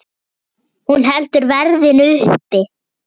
Hún heldur verðinu uppi.